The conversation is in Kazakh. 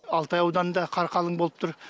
алтай ауданында қар қалың болып тұр